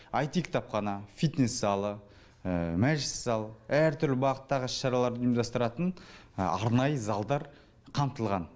аити кітапхана фитнес залы мәжіліс залы әртүрлі бағыттағы іс шараларды ұйымдастыратын арнайы залдар қамтылған